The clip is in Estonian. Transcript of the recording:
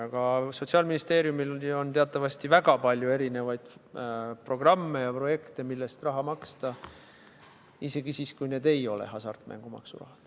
Aga Sotsiaalministeeriumil on teatavasti väga palju erisuguseid programme ja projekte, millest raha maksta, isegi siis, kui see ei ole hasartmängumaksu raha.